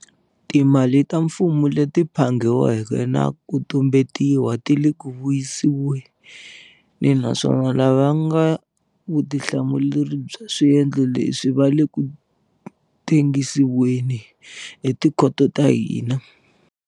Timali ta mfumo leti phangi weke na ku tumbetiwa ti le ku vuyisiweni naswona lava nga na vutihlamuleri bya swendlo leswi va le ku tengi siweni hi tikhoto ta hina.